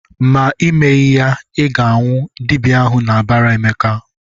"Ma Ị meghị ya, Ị ga-anwụ!" Dibịa ahụ na-abara Emeka.